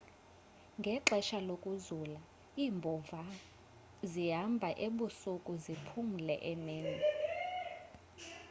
ngexesha lokuzula iimbhova zihambha ebusuku ziphumule emini